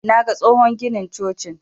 Naga tsohon ginin cocin.